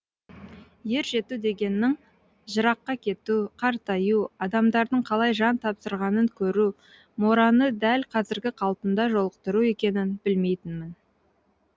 ер жету дегеннің жыраққа кету қартаю адамдардың қалай жан тапсырғанын көру мораны дәл қазіргі қалпында жолықтыру екенін білмейтінмін